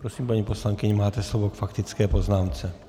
Prosím, paní poslankyně, máte slovo k faktické poznámce.